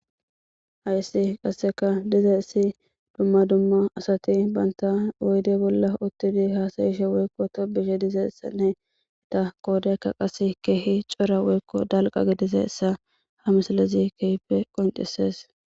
hayssi qasseka diza issi dumma dumma asati baynta woyde bolla uttidi haasayishe woykko to bishe dizeessanne da koodeykka qase keehi cora woykko dalqa gidizeessa ha misalezi keype qoncisees